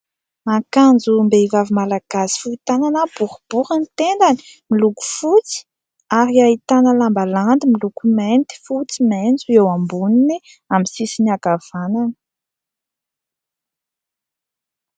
Ankanjom-behivavy malagasy fohy tanana boribory ny tendany. Miloko fotsy ary ahitana lamba landy miloko mainty, fotsy, maitso eo amboniny amin'ny sisiny ankavanana.